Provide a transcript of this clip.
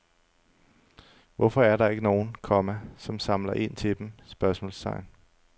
Hvorfor er der ikke nogen, komma som samler ind til dem? spørgsmålstegn